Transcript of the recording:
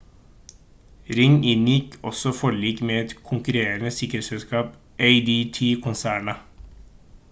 ring inngikk også forlik med et konkurrerende sikkerhetsselskap adt-konsernet